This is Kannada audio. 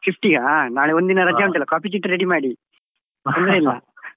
Fifty ಯಾ ನಾಳೆ ಒಂದ್ ದಿನ ರಜೆ copy ಚೀಟಿ ready ಮಾಡಿ ತೊಂದ್ರೆ ಇಲ್ಲ.